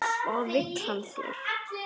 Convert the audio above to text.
Hvað vill hann þér?